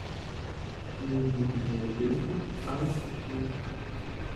невидимые дети аш ди